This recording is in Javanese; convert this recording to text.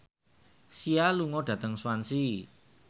Sia lunga dhateng Swansea